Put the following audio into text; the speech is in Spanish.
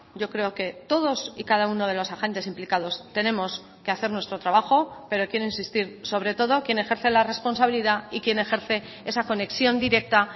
yo creo que todos y cada uno de los agentes implicados tenemos que hacer nuestro trabajo pero quiero insistir sobre todo quien ejerce la responsabilidad y quien ejerce esa conexión directa